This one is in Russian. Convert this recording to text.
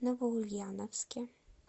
новоульяновске